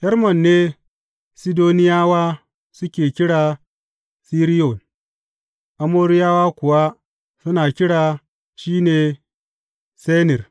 Hermon ne Sidoniyawa suke kira Siriyon, Amoriyawa kuwa suna kira shi Senir.